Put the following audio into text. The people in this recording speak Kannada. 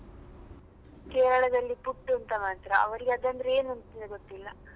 Kerala ದಲ್ಲಿ ಪುಟ್ಟು ಅಂತ ಮಾಡ್ತಾರೆ ಅವರಿಗೆ ಅದಂದ್ರೆ ಏನುಂತ್ಲೆ ಗೊತ್ತಿಲ್ಲ.